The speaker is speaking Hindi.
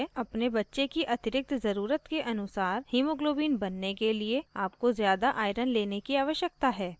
अपने बच्चे की अतिरिक्त ज़रुरत के अनुसार hemoglobin बनने के लिए आपको ज़्यादा iron लेने की आवश्यकता है